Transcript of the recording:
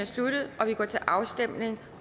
sluttet og vi går til afstemning